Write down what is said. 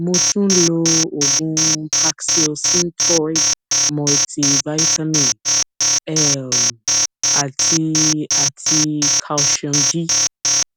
mo tún ń lo oògùn paxil synthroid multi vitamin um àti àti calcium d